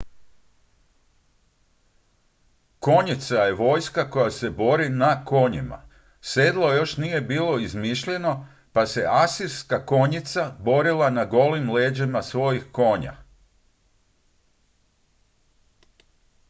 konjica je vojska koja se bori na konjima sedlo još nije bilo izmišljeno pa se asirska konjica borila na golim leđima svojih konja